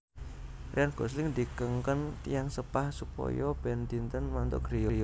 Ryan Gosling dikengken tiyang sepah supaya ben dinten mantuk griya